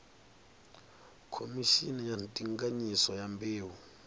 khomishini ya ndinganyiso ya mbeu